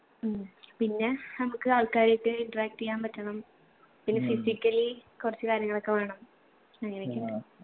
ഉം പിന്നെ നമ്മക്ക് ആൾക്കാരായിട്ട് interact എയ്യാൻ പറ്റണം പിന്നെ physically കൊറച്ച് കാര്യങ്ങളൊക്കെ വേണം അങ്ങനെയൊക്കെയിണ്ട്